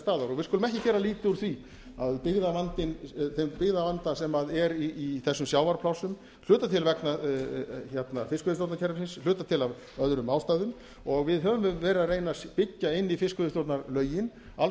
staðar við skulum ekki gera lítið úr þeim byggðavanda sem er í þessum sjávarplássum að hluta til vegna fiskveiðistjórnarkerfisins að hluta til af öðrum ástæðum og við höfum verið að reyna að byggja inn í fiskveiðistjórnarlögin alls